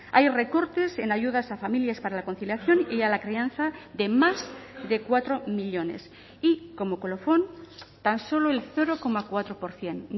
hay recortes en ayudas a familias para la conciliación y a la crianza de más de cuatro millónes y como colofón tan solo el cero coma cuatro por ciento